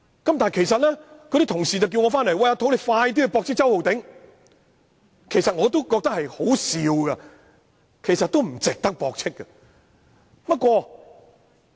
有同事催促我回來駁斥周浩鼎議員，我也覺得他所言甚為可笑，但亦不值得駁斥。